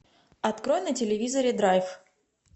открой на телевизоре драйв